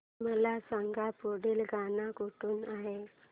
मला सांग पुढील गाणं कुठलं आहे